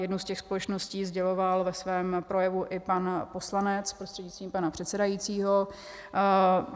Jednu z těch společností sděloval ve svém projevu i pan poslanec prostřednictvím pana předsedajícího.